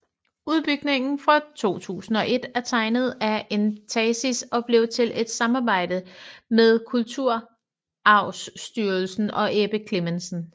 Udbygningen fra 2001 er tegnet af Entasis og blev til i et samarbejde med Kulturarvstyrelsen og Ebbe Clemmensen